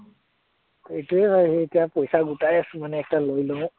সেইটোৱে ভাবি আছো এতিয়া, পইচা গোটাই আছো মানে একটা লৈ লম